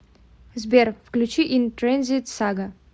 сбер включи ин трэнзит сага